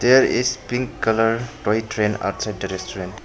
There is pink colour toy train outside the restaurant.